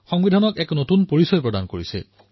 সংবিধানক এক নতুন পৰিচয় প্ৰদান কৰিছে